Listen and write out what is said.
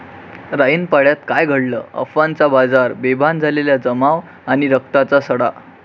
राईनपाड्यात काय घडलं? अफवांचा बाजार, बेभान झालेला जमाव आणि रक्ताचा सडा